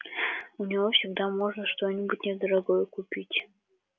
у него всегда можно что-нибудь недорогое купить